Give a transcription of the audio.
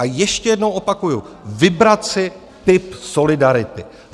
A ještě jednou opakuju - vybrat si typ solidarity.